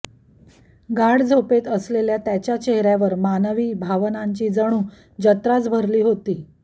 गाढ झोपेत असलेल्या त्याच्या चेहऱ्यावर मानवी भावनांची जणू जत्राच भरली होती